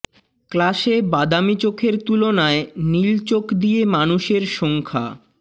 ক্লাসে বাদামী চোখের তুলনায় নীল চোখ দিয়ে মানুষের সংখ্যা